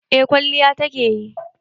Eh kwalliya ta ke yi.